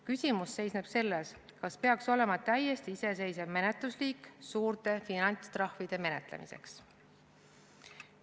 Küsimus seisneb selles, kas peaks olema täiesti iseseisev menetlusliik suurte finantstrahvide menetlemiseks.